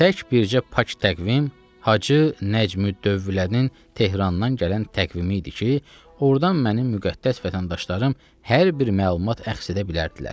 Tək bircə pak təqvim Hacı Nəcmüddövlənin Tehrandan gələn təqvimi idi ki, ordan mənim müqəddəs vətəndaşlarım hər bir məlumat əxz edə bilərdilər.